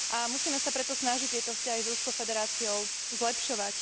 Musíme sa preto snažiť tieto vzťahy s Ruskou federáciou zlepšovať.